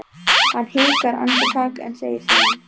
Hann hikar andartak en segir síðan